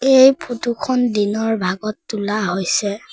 এই ফটো খন দিনৰ ভাগত তোলা হৈছে।